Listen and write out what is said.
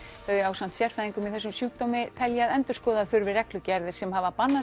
þau ásamt sérfræðingum í þessum sjúkdómi telja að endurskoða þurfi reglugerðir sem hafa bannað